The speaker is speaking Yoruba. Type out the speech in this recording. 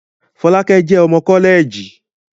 Fọlákẹ́ jẹ́ ọmọ kọ́lẹ̀ẹ̀jì